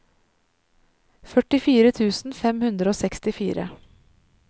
førtifire tusen fem hundre og sekstifire